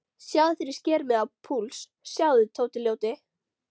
Sjáðu þegar ég sker mig á púls, sjáðu, Tóti ljóti.